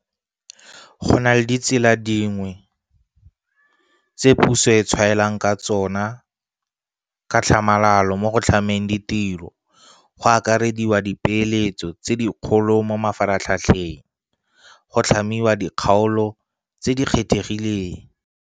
Go na le ditsela tse dingwe tse puso e tshwaelang ka tsona ka tlhamalalo mo go tlhameng ditiro, go akarediwa ka dipeeletso tse dikgolo mo mafaratlhatlheng, go tlhamiwa ga dikgaolo tse di kgethegileng